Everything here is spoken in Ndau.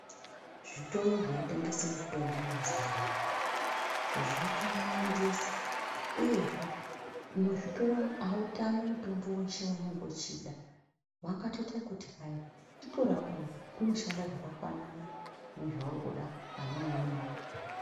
Zvitoro zvinotengese mitombo mazuwa anaya ,zvakawandisa, uyezve muzvitoro umu autami mutombo weshe waunenge uchida. Vangatoite ekuti hayi, "Chitora uyu, unoshanda zvakafanana nezvauri kuda pane neumweni wacho."